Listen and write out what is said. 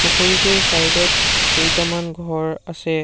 পুখুৰীটোৰ চাইডত কেইটামান ঘৰ আছে।